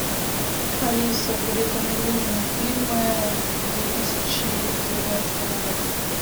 алиса порекомендуй мне фильмы две тысячи девятнадцатого года